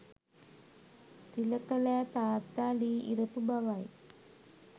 තිලකලෑ තාත්තා ලී ඉරපු බවයි